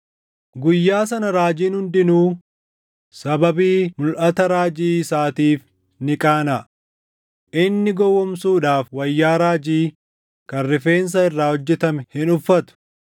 “Guyyaa sana raajiin hundinuu sababii mulʼata raajii isaatiif ni qaanaʼa; inni gowwoomsuudhaaf wayyaa raajii kan rifeensa irraa hojjetame hin uffatu.